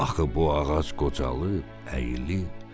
Axı bu ağac qocalıb, əyilib.